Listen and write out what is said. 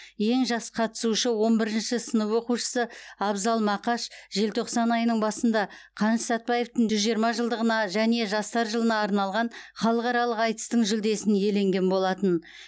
ең жас қатысушы он бірінші сынып оқушысы абзал мақаш желтоқсан айының басында қаныш сәтбаевтың жүз жиырма жылдығына және жастар жылына арналған халықаралық айтыстың жүлдесін иеленген болатын